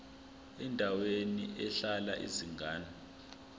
endaweni ehlala izingane